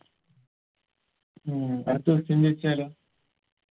ഉം അടുത്ത question ചോയിച്ചാലോ